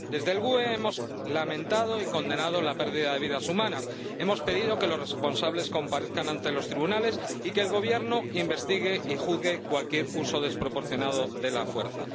Desde el Grupo GUE NGL hemos lamentado y condenado la pérdida de vidas humanas, hemos pedido que los responsables comparezcan ante los tribunales y que el Gobierno investigue y juzgue cualquier uso desproporcionado de la fuerza.